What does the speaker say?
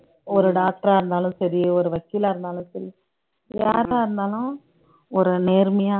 ஒரு doctor ஆ இருந்தாலும் சரி ஒரு வக்கீலா இருந்தாலும் சரி யாரா இருந்தாலும் ஒரு நேர்மையா